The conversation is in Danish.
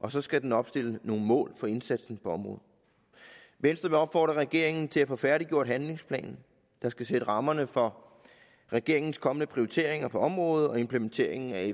og så skal den opstille nogle mål for indsatsen på området venstre vil opfordre regeringen til at få færdiggjort handlingsplanen der skal sætte rammerne for regeringens kommende prioriteringer på området og implementeringen af